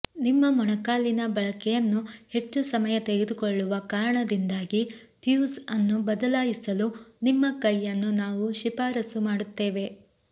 ನಿಮ್ಮ ಮೊಣಕಾಲಿನ ಬಳಕೆಯನ್ನು ಹೆಚ್ಚು ಸಮಯ ತೆಗೆದುಕೊಳ್ಳುವ ಕಾರಣದಿಂದಾಗಿ ಫ್ಯೂಸ್ ಅನ್ನು ಬದಲಾಯಿಸಲು ನಿಮ್ಮ ಕೈಯನ್ನು ನಾವು ಶಿಫಾರಸು ಮಾಡುತ್ತೇವೆ